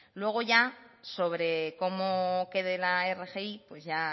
luego ya sobre cómo quede la rgi pues ya